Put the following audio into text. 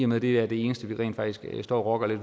med at det er det eneste vi rent faktisk står og rokker lidt